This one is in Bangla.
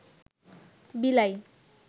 বিলাই